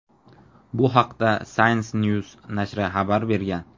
Bu haqda "Science News" nashri xabar bergan.